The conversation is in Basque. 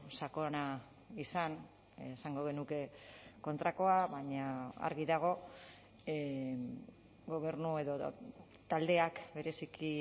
sakona izan esango genuke kontrakoa baina argi dago gobernu edo taldeak bereziki